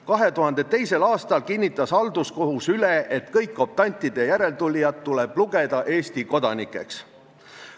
2002. aastal kinnitas halduskohus üle, et kõik optantide järeltulijad tuleb lugeda Eesti kodanikeks.